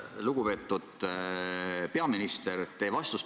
Lugupeetud peaminister!